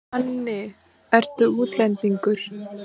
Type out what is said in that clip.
Manni, ertu útlendingur?